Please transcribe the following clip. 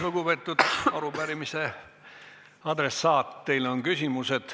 Lugupeetud arupärimise adressaat, teile on küsimusi.